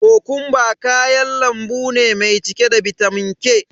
Kokumba kayan lambu ne mai cike da bitamin K.